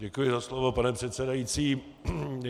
Děkuji za slovo, pane předsedající.